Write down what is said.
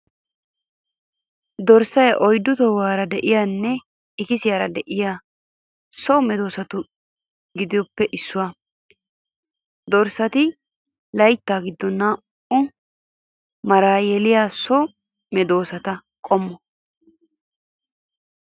Dorssay oyddu tohuwaara de'iyaanne ikisiyaara de'iya so medoosatu giddoppe issuwaa . Dorssati layttaa giddon naa'uto maraa yeliya so medoosa qommo.